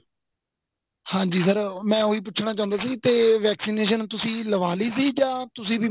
ਹਾਂਜੀ sir ਮੈਂ ਉਹੀ ਪੁੱਛਣਾ ਚਾਹੁੰਦਾ ਸੀ ਤੇ vaccination ਤੁਸੀਂ ਲਵਾਲੀ ਸੀ ਜਾਂ ਤੁਸੀਂ